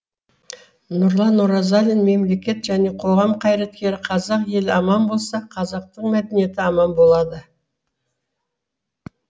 нұрлан оразалин мемлекет және қоғам қайраткері қазақ елі аман болса қазақтың мәдениеті аман болады